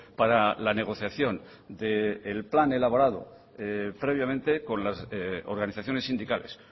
para la negociación del plan elaborado previamente con las organizaciones sindicales